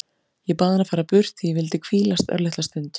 Ég bað hann að fara burt því ég vildi hvílast örlitla stund.